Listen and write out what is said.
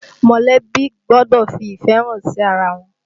Mọ̀lẹ́bí gbọ́dọ̀ fi ìfẹ́ hàn sí ara wọn